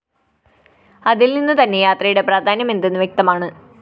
അതില്‍ നിന്നുതന്നെ യാത്രയുടെ പ്രാധാന്യം എന്തെന്ന് വ്യക്തമാണ്